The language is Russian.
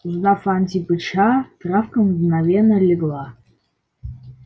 узнав антипыча травка мгновенно легла